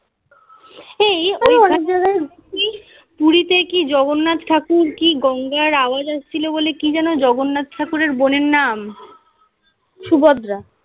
এই অনেক জায়গায় পুরীতে কি জগন্নাথ ঠাকুর কি গঙ্গার আওয়াজ আসছিলো বলে কি যেন জগন্নাথ ঠাকুরের বোনের নাম. সুভদ্রা